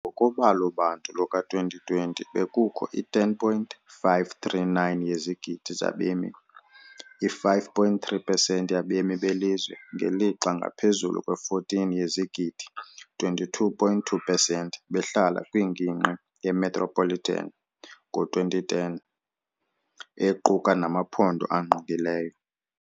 Ngokobalo-bantu luka-2020, bekukho i-10.539 yezigidi zabemi, i-5.3 pesenti yabemi belizwe, ngelixa ngaphezulu kwe-14 yezigidi, 22.2 pesenti behlala kwingingqi ye-metropolitan ngo-2010, equka namaphondo angqongileyo.